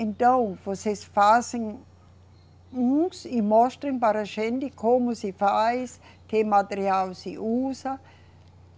Então, vocês fazem uns e mostrem para a gente como se faz, que material se usa.